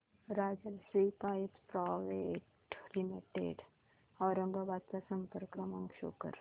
Rajshri pipes private limited Aurangabad चा संपर्क क्रमांक शो कर